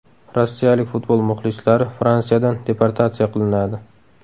Rossiyalik futbol muxlislari Fransiyadan deportatsiya qilinadi.